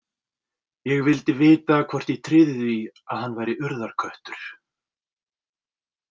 Ég vildi vita hvort ég tryði því að hann væri Urðarköttur.